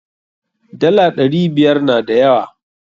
Dala ɗari biyar na da yawa.